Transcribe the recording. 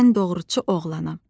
Mən doğruçu oğlanam.